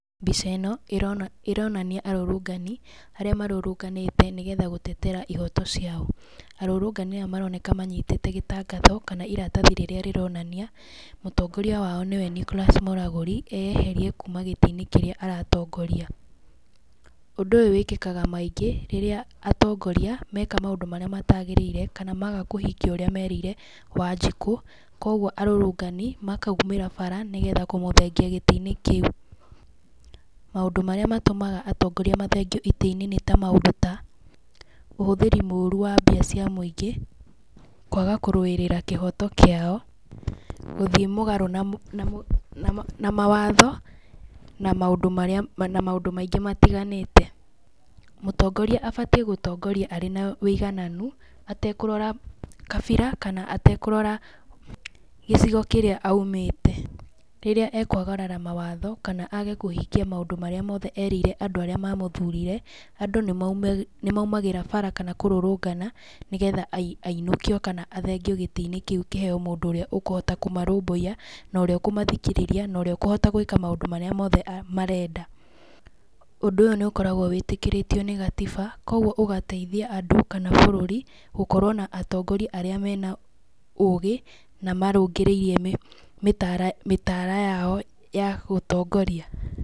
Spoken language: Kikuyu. Mbica ĩno, ĩrona ĩronania arũrũngani, arĩa marũrũnganĩte nĩgetha gũtetera ihoto ciao, arũrũngani aya maroneka manyitĩte gĩtangatho, kana iratathi rĩrĩa rĩronania mũtongoria wao nĩwe Nicholas Mũragũri, eyeherie kuuma gĩtĩ-inĩ kĩrĩa aratongoria, ũndũ ũyũ wĩkĩkaga maingĩ rĩrĩa atongoria meka maũndũ marĩa matagĩrĩire, kana maga kũhingia ũrĩa merĩire Wanjiku, koguo arũrũngani makaumĩra bara, nĩgetha kũmũthengia gĩtĩ-inĩ kĩu, maũndũ marĩa matũmaga atongoria mathengio itĩ-inĩ nĩ ta maũndũ ta, ũhũthĩri mũru wa mbia cia mũingĩ, kwaga kũrũĩrĩra kĩhoto kĩao, gũthiĩ mũgarũ na mũ na mũ na mawatho, na maũndũ marĩa, na maũndũ maingĩ matiganĩte, mũtongoria abatiĩ gũtongoria arĩ na wĩigananu, atekũrora kabira kana atekũrora gĩcigo kĩrĩa aumĩte, rĩrĩa ekwagarara mawatho, kana age kũhingia maũndũ marĩa mothe erĩire andũ arĩa mamũthurire, andũ nĩ mauma nĩ maumĩraga bara, kana kũrũrũngana, nĩgetha a ainũkio kana athengio gĩtĩ-inĩ kĩu kĩheyo mũndũ ũrĩa ũkũhota kũmarũbũiya, norĩa ũkũmathikĩrĩria, noria ũkũhota gwĩka maũndũ marĩa mothe marenda, ũndũ ũyũ nĩ ũkoragwo wĩtĩkĩrĩtio nĩ gatiba, koguo ũgateithia andũ kana bũrũri, gũkorwo na atongoria arĩa mena ũgĩ, na marũngĩrĩirie mĩtara mĩtara yao ya gũtongoria.